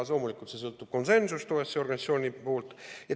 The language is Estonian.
Loomulikult, see sõltub konsensusest OSCE organisatsioonis.